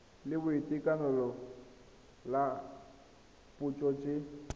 la boitekanelo la dipotso tse